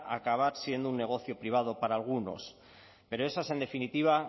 acabar siendo un negocio privado para algunos pero esa es en definitiva